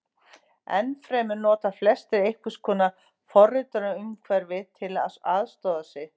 Enn fremur nota flestir einhvers konar forritunarumhverfi til að aðstoða sig.